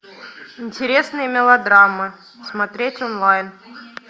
интересные мелодрамы смотреть онлайн